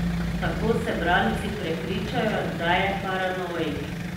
Tako se bralci prepričajo, da je paranoik.